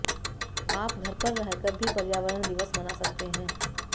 आप घर पर रहकर भी पर्यावरण दिवस मना सकते हैं